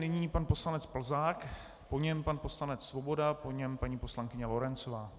Nyní pan poslanec Plzák, po něm pan poslanec Svoboda, po něm paní poslankyně Lorencová.